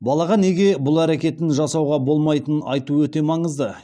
балаға неге бұл әрекетті жасауға болмайтынын айту өте маңызды